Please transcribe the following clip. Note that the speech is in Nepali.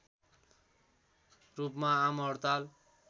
रूपमा आमहड्ताल